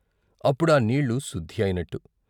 అప్పుడు ఆ నీళ్ళు శుద్ధి అయినట్టు.